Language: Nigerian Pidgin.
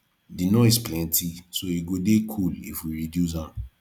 the noise plenty so e go dey cool if we reduce am